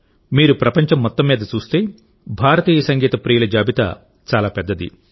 మీరు ప్రపంచం మొత్తం మీద చూస్తేభారతీయ సంగీత ప్రియుల జాబితా చాలా పెద్దది